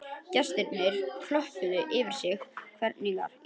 Gestirnir klöppuðu yfir sig hrifnir